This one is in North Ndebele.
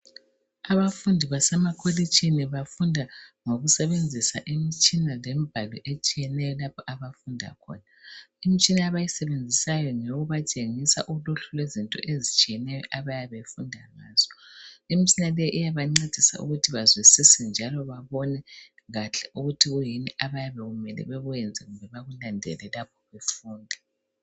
abafundi basemakolitshini bafunda ngokusebenzisa imitshina lemibhalo esthiyeneyo lapho abafunda khona imitshina abayisebenzisayo ngeyokubtshengisa uluhlu lwezinto ezitshiyeneyo abayabe befunda ngazo imitshina leyi iyabancedisa ukuthi bazwisise njalo babone kahle ukuthi kuyini abayabe bemele bekwenze kumbe bekulandele lapho befunda